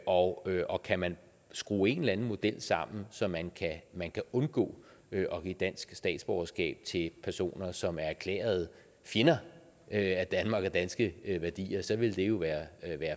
og og kan man skrue en eller anden model sammen så man man kan undgå at give dansk statsborgerskab til personer som er erklærede fjender af danmark og danske værdier så ville det jo være